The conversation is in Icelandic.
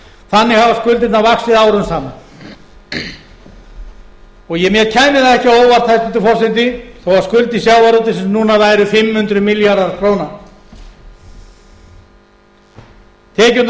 lánastofnunum þannig hafa skuldirnar vaxið árum saman og mér kæmi það ekki á óvart hæstvirtur forseti þó að skuldir sjávarútvegsins núna væru fimm hundruð milljarðar króna tekjurnar okkar af